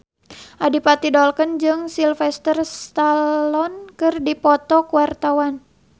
Adipati Dolken jeung Sylvester Stallone keur dipoto ku wartawan